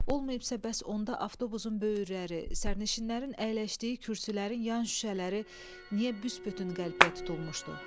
Olmayıbsa bəs onda avtobusun böyürləri, sərnişinlərin əyləşdiyi kürsülərin yan şüşələri niyə büsbütün qəlpəyə tutulmuşdu?